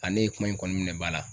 ne ye kuma in kɔni minɛ ba la.